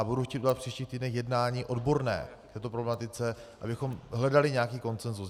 A budu chtít udělat příští týden jednání odborné k této problematice, abychom hledali nějaký konsenzus.